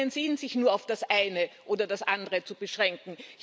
Es macht keinen Sinn, sich nur auf das eine oder das andere zu beschränken.